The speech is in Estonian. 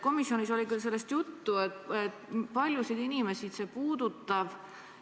Komisjonis oli sellest küll juttu, aga kui paljusid inimesi see puudutab?